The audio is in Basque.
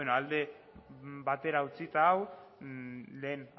ba bueno alde batera utzita hau lehen